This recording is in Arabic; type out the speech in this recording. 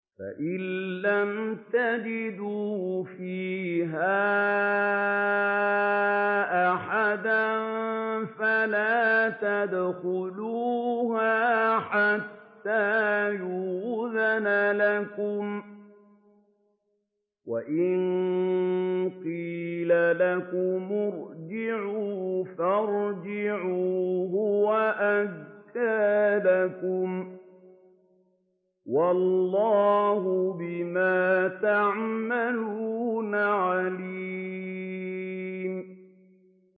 فَإِن لَّمْ تَجِدُوا فِيهَا أَحَدًا فَلَا تَدْخُلُوهَا حَتَّىٰ يُؤْذَنَ لَكُمْ ۖ وَإِن قِيلَ لَكُمُ ارْجِعُوا فَارْجِعُوا ۖ هُوَ أَزْكَىٰ لَكُمْ ۚ وَاللَّهُ بِمَا تَعْمَلُونَ عَلِيمٌ